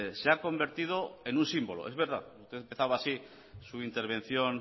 se ha convertido en un símbolo es verdad usted empezaba así su intervención